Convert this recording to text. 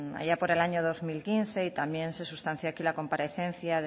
allá por el año dos mil quince y también se sustancia aquí la comparecencia